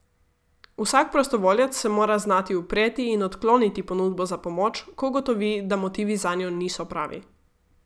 Vsak prostovoljec se mora znati upreti in odkloniti ponudbo za pomoč, ko ugotovi, da motivi zanjo niso pravi.